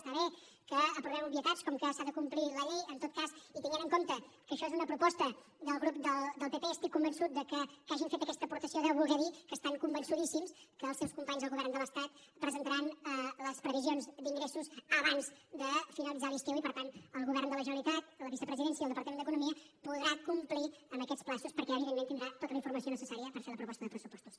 està bé que aprovem obvietats com que s’ha de complir la llei en tot cas i tenint en compte que això és una proposta del grup del pp estic convençut que que hagin fet aquesta aportació deu voler dir que estan convençudíssims que els seus companys al govern de l’estat presentaran les previsions d’ingressos abans de finalitzar l’estiu i per tant el govern de la generalitat la vicepresidència i el departament d’economia podrà complir amb aquests terminis perquè evidentment tindrà tota la informació necessària per fer la proposta de pressupostos